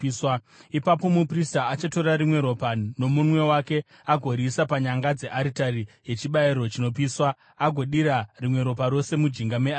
Ipapo muprista achatora rimwe ropa nomunwe wake agoriisa panyanga dzearitari yechibayiro chinopiswa agodira rimwe ropa rose mujinga mearitari.